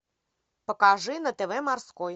покажи на тв морской